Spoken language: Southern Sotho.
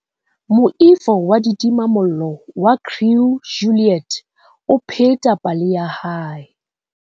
Moifo wa ditimamollo wa Crew Juliet o pheta pale ya hae.